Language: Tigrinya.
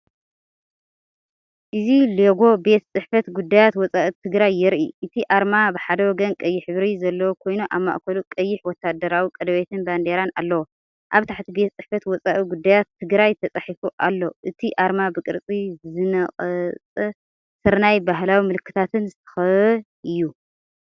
እዚ ሎጎ ቤት ፅሕፈት ጉዳያት ወፃኢ ትግራይ የርኢ። እቲ ኣርማ ብሓደ ወገን ቀይሕ ሕብሪ ዘለዎ ኮይኑ ኣብ ማእከሉ ቀይሕ ወተሃደራዊ ቀለቤትን ባንዴራን ኣለዎ። ኣብ ታሕቲ"ቤት ፅሕፈት ወፃኢ ጉዳያት ትግራይ"ተፃሒፉ ኣሎ። እቲ ኣርማ ብቅርጺ ዝነቐጸ ስርናይን ባህላዊምልክታትን ዝተኸበበ እዩ።